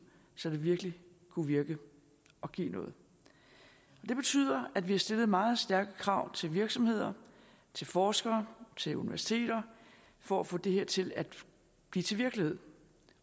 så det virkelig kunne virke og give noget det betyder at vi har stillet meget stærke krav til virksomheder til forskere til universiteter for at få det her til at blive til virkelighed